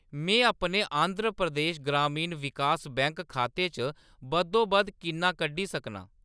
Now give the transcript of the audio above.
मैं अपने आंध्र प्रदेश ग्रामीण विकास बैंक खाते चा बद्धोबद्ध किन्ना कड्ढी सकनां ?